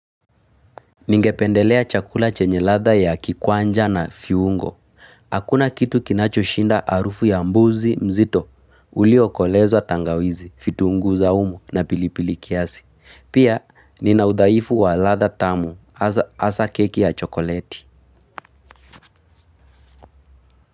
Ningependelea chakula chenye ladha ya kikwanja na viungo. Hakuna kitu kinachoshinda harufu ya mbuzi mzito. Uliokolezwa tangawizi, vitunguu saumu na pilipili kiasi. Pia nina udhaifu wa ladhaa tamu hasa hasa keki ya chokoleti.